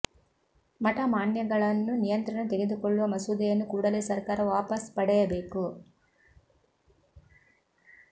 ಮಠ ಮಾನ್ಯಗಳನ್ನು ನಿಯಂತ್ರಣ ತೆಗೆದುಕೊಳ್ಳುವ ಮಸೂದೆಯನ್ನು ಕೂಡಲೇ ಸರ್ಕಾರ ವಾಪಸ್ ಪಡೆಯ ಬೇಕು